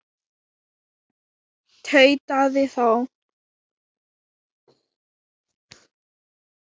tautaði þá